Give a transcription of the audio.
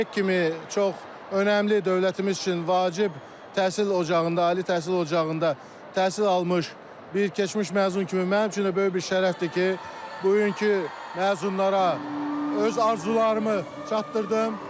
YUNİK kimi çox önəmli, dövlətimiz üçün vacib təhsil ocağında, ali təhsil ocağında təhsil almış bir keçmiş məzun kimi mənim üçün də böyük bir şərəfdir ki, bugünkü məzunlara öz arzularımı çatdırdım.